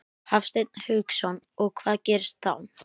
Hafsteinn Hauksson: Og hvað gerist þá?